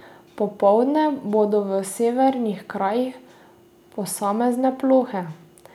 Popoldne bodo v severnih krajih posamezne plohe.